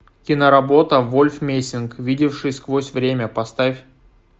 киноработа вольф мессинг видевший сквозь время поставь